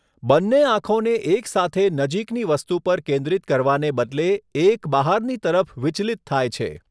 બંને આંખોને એકસાથે નજીકની વસ્તુ પર કેન્દ્રિત કરવાને બદલે, એક બહારની તરફ વિચલિત થાય છે.